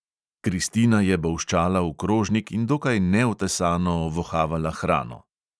Kristina je bolščala v krožnik in dokaj neotesano ovohavala hrano.